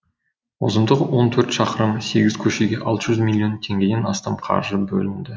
ұзындығы он төрт шақырым сегіз көшеге алты жүз миллион теңгеден астам қаржы бөлінді